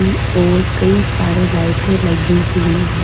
और कई सारी लाइटे लगी हुई है।